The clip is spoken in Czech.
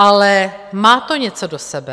Ale má to něco do sebe.